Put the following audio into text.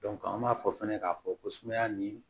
an b'a fɔ fɛnɛ k'a fɔ ko sumaya nin